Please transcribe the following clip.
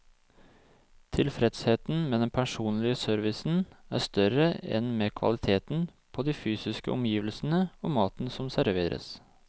Tilfredsheten med den personlige servicen er større enn med kvaliteten på de fysiske omgivelsene og maten som serveres.